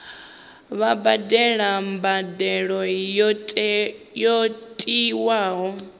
vha badele mbadelo yo tiwaho